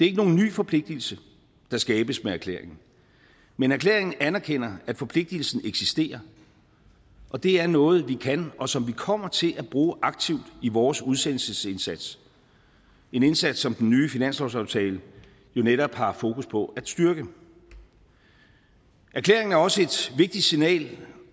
ikke nogen ny forpligtelse der skabes med erklæringen men erklæringen anerkender at forpligtelsen eksisterer og det er noget vi kan og som vi kommer til at bruge aktivt i vores udsendelsesindsats en indsats som den nye finanslovsaftale jo netop har fokus på at styrke erklæringen er også et vigtigt signal